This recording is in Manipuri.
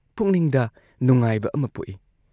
ꯄꯨꯛꯅꯤꯡꯗ ꯅꯨꯡꯉꯥꯏꯕ ꯑꯃ ꯄꯣꯛꯏ ꯫